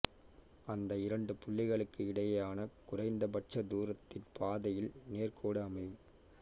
அந்த இரண்டு புள்ளிகளுக்கு இடையேயான குறைந்த பட்ச தூரத்தின் பாதையில் நேர்கோடு அமையும்